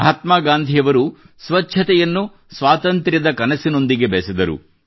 ಮಹಾತ್ಮಾ ಗಾಂಧಿಯವರು ಸ್ವಚ್ಛತೆಯನ್ನು ಸ್ವಾತಂತ್ರ್ಯದ ಕನಸಿನೊಂದಿಗೆ ಬೆಸೆದರು